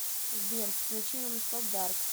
сбер включи нонстоп дарк